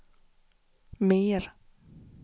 mer